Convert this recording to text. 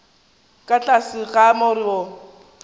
ka tlase ga more wo